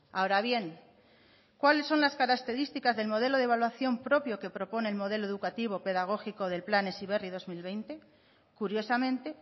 ahora bien cuáles son las características del modelo de evaluación propio que propone el modelo educativo pedagógico del plan heziberri dos mil veinte curiosamente